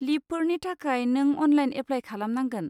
लिबफोरनि थाखाय नों online apply खालामनांगोन।